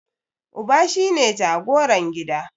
Uba shine jagoran gida.